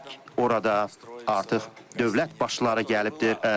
Orada artıq dövlət başçıları gəlibdir.